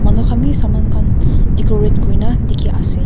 manu khan bhi samaan khan decorate kori na dekhi ase.